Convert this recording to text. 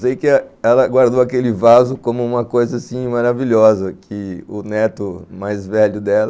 Sei que ela guardou aquele vaso como uma coisa assim maravilhosa, que o neto mais velho dela